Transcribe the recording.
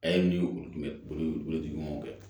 A ye min ye olu kun bɛ boli tigi ɲɔgɔn kɛ